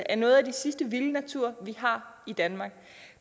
af noget af det sidste vilde natur vi har i danmark